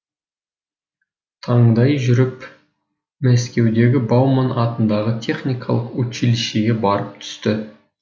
таңдай жүріп мәскеудегі бауман атындағы техникалық училищеге барып түсті